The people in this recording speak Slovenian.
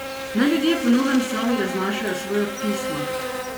Naj ljudje po novem sami raznašajo svoja pisma?